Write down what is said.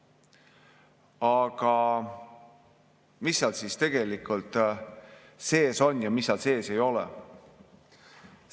Aga mis seal siis tegelikult sees on ja mida seal sees ei ole?